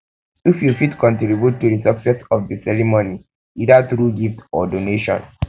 if you fit contribute um to di success of um di ceremony either um through gift or donation